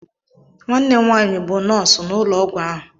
Nwanne m nwaanyị bụ nọọsụ n'ụlọ ọgwụ ahụ.